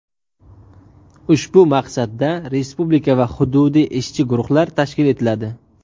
Ushbu maqsadda respublika va hududiy ishchi guruhlar tashkil etiladi.